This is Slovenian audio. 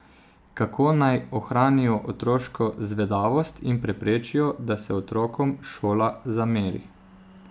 Kako naj ohranijo otroško zvedavost in preprečijo, da se otrokom šola zameri?